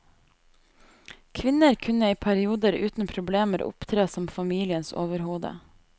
Kvinner kunne i perioder uten problemer opptre som familiens overhode.